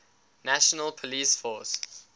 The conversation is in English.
national police force